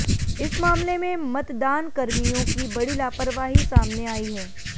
इस मामले में मतदानकर्मियों की बड़ी लापरवाही सामने आई है